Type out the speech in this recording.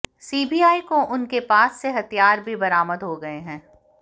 CBI को उनके पास से हथियार भी बरामद हो गए हैं